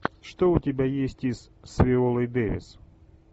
что у тебя есть из с виолой дэвис